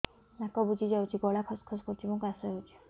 ନାକ ବୁଜି ଯାଉଛି ଗଳା ଖସ ଖସ କରୁଛି ଏବଂ କାଶ ହେଉଛି